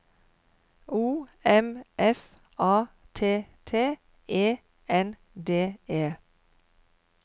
O M F A T T E N D E